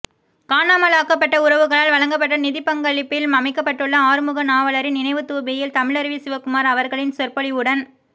காணாமலாக்கப்பட்ட உறவுகளால் வழங்கப்பட்ட நிதிப்பங்களிப்பில் அமைக்கப்பட்டுள்ள ஆறுமுகநாவலரின் நினைவுத் தூபியில் தமிழருவி சிவகுமார் அவர்களின் சொற்பொழிவுடன்